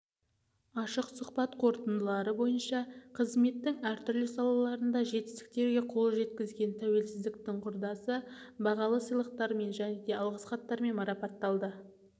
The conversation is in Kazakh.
ашық сұхбат қорытындылары бойынша қызметтің әр түрлі салаларында жетістіктерге қол жеткізген тәуелсіздіктің құрдасы бағалы сыйлықтармен және алғыс хаттармен марапатталды